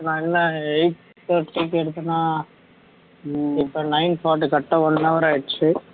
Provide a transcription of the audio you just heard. இப்ப நான் என்ன eight thirty க்கு எடுத்தனா இப்ப nine forty correct ஆ one hour ஆயிடுச்சு